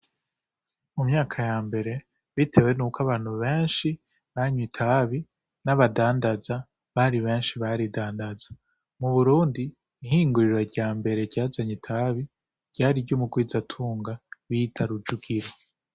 Mu myaka yambere bitewe nuko abantu benshi banywa itabi n'abadanzaza bari benshi baridandaza, mu Burundi ihinguriro ryambere ryazanye itabi ryari iry'umugwizatunga bita Rujugiro.